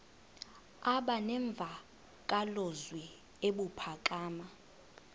aba nemvakalozwi ebuphakama